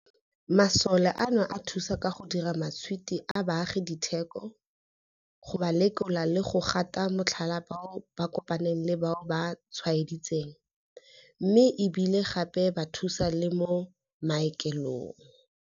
Masole ano a thusa ka go dira matšhwiti a baagi diteko, go ba lekola le go gata motlhala bao ba kopaneng le bao ba tshwaeditsweng, mme e bile gape ba thusa le mo maokelong.